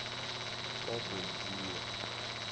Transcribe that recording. kagotjiwe